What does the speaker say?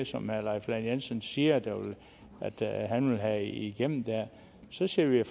som herre leif lahn jensen siger han vil have igennem så ser vi